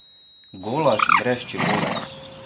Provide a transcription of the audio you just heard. Golaž brez čebule?